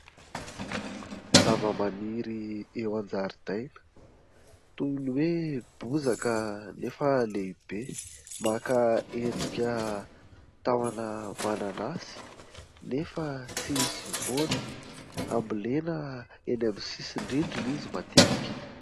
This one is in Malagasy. Zava-maniry eo an-jaridaina toy ny hoe bozaka nefa lehibe, maka endrika tahona mananasy nefa tsisy voany, hambolena eny amin'ny sisin-drindrina izy matetika.